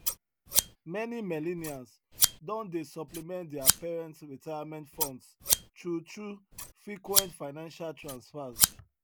many millennials don dey supplement their parents retirement funds through through frequent financial transfers